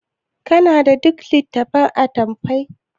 kana da duk lit? attafai